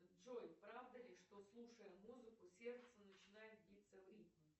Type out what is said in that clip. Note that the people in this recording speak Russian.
джой правда ли что слушая музыку сердце начинает биться в ритм